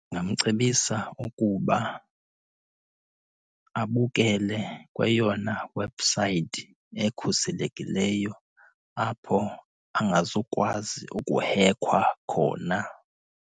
Ndingamcebisa ukuba abukele kweyona webhusayithi ekhuselekileyo apho angazukwazi ukuhekhwa khona.